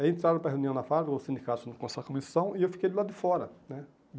Aí entraram para reunião na Fábrica, os sindicatos com essa comissão, e eu fiquei do lado de fora, né?